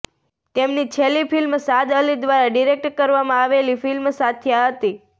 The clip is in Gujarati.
તેમની છેલ્લી ફિલ્મ શાદ અલી દ્વારા ડિરેક્ટ કરવામાં આવેલી ફિલ્મ સાથિયા હતી